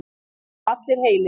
Þeir eru allir heilir